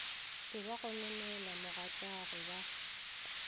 be ba gononela mogatšagwe ba